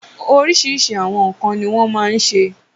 Oríṣiríṣi àwọn nǹkan ni wọ́n ma ń se.